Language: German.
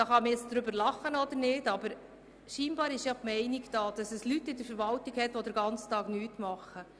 Man kann jetzt darüber lachen, aber anscheinend herrscht die Meinung vor, dass es in der Verwaltung Leute gibt, die den ganzen Tag nichts tun.